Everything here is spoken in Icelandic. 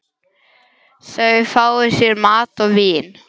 Þau fá sér mat og vín.